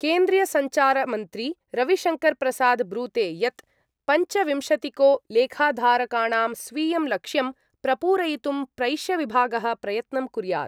केन्द्रीयसञ्चारमन्त्री रविशङ्करप्रसाद ब्रूते यत् पञ्चविंशतिको लेखाधारकाणां स्वीयं लक्ष्यं प्रपूरयितुं प्रैष्यविभागः प्रयत्नं कुर्यात्।